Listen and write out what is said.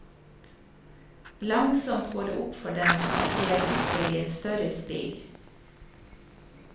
Langsomt går det opp for dem at de er brikker i et større spill.